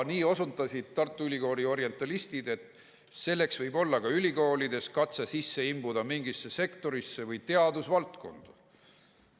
Nii osundasid Tartu Ülikooli orientalistid, et selleks võib olla ka ülikoolides katse sisse imbuda mingisse sektorisse või teadusvaldkonda.